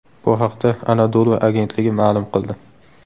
Bu haqda Anadolu agentligi ma’lum qildi .